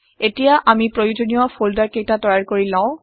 এতিয়া আমি প্ৰয়োজনীয় ফল্ডাৰ কেইটা তৈয়াৰ কৰি ললো